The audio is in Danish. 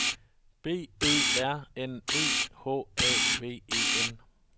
B Ø R N E H A V E N